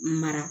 Mara